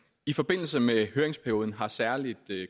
i forbindelse med høringsperioden har særlig